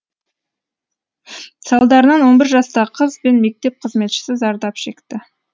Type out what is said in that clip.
салдарынан он бір жастағы қыз бен мектеп қызметшісі зардап шекті